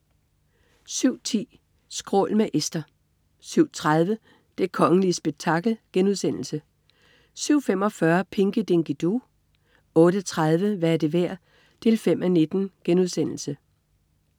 07.10 Skrål. Med Esther 07.30 Det kongelige spektakel* 07.45 Pinky Dinky Doo 08.30 Hvad er det værd? 5:19*